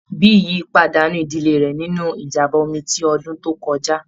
Biyi pàdánù ìdílé rẹ̀ nínú ìjàm̀bá omi ti ọdún tó kọjá.